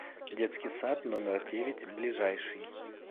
детский сад номер девять ближайший